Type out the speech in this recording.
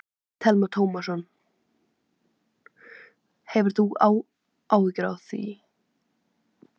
Telma Tómasson: Hefur þú áhyggjur af því?